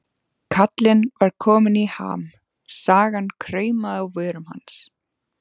Kallinn var kominn í ham, sagan kraumaði á vörum hans.